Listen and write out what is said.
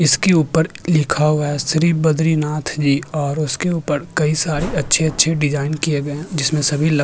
इसके ऊपर लिखा हुआ है श्री बद्रीनाथ जी और उसके ऊपर कई सारे अच्छे-अच्छे डिजाइन किए गए हैं जिसमें सभी ल --